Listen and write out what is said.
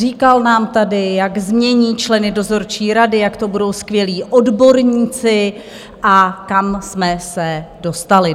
Říkal nám tady, jak změní členy dozorčí rady, jak to budou skvělí odborníci, a kam jsme se dostali?